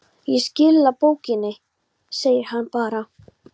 Ég skila bókinni, segir hann bara.